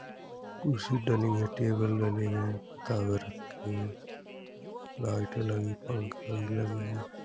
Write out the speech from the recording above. कुर्सी डले हुई टेबल डले हैं रखे हैं लाइटे लगी पंखे लगे हैं।